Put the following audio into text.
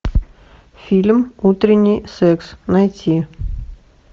фильм утренний секс найти